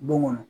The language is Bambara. Don kɔnɔ